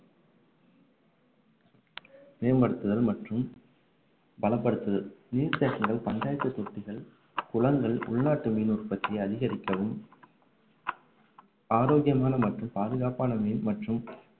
மேம்படுத்துதல் மற்றும் பலப்படுத்துதல் நீர்த்தேக்கங்கள் பஞ்சாயத்து தொட்டிகள் குளங்கள் உள்நாட்டு மீன் உற்பத்தியை அதிகரிக்கவும் ஆரோக்கியமான மற்றும் பாதுகாப்பான மீன் மற்றும்